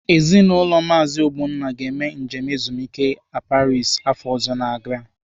Ezinaụlọ Maazi Ogbonna ga-eme njem ezumike a Paris afọ ọzọ ga-abịanu.